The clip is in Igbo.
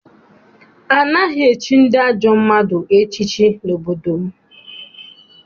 Anaghị echi ndị ajọ mmadụ echiche n'obodo m.